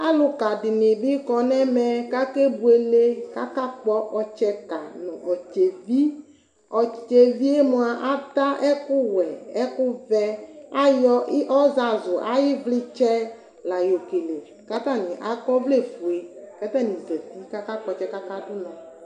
Alʋka dinibi kɔnʋ ɛmɛ kʋ akebuele kʋ akakpɔ ɔtsɛka nʋ ɔtsɛvi ɔtsɛvi yɛ mʋa ata ɛkʋwɛ nʋ ɛkʋvɛ ayɔ ɔzazʋ ayʋ ivlitsɛ la yɔ kele kʋ atani akɔ ɔvlɛfue kʋ atani zati kakpɔ ɔtsɛ kʋ akadʋ ʋnɔ